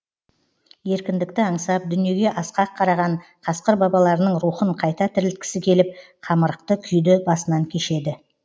еркіндікті аңсап дүниеге асқақ қараған қасқыр бабаларының рухын қайта тірілткісі келіп қамырықты күйді басынан кешеді